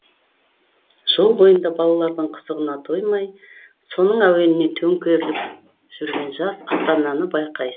жол бойында балаларының қызығына тоймай соның әуеніне төңкеріліп жүрген жас ата ананы байқайсыз